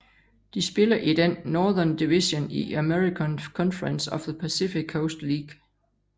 De spiller i den Northern Division i American Conference of the Pacific Coast League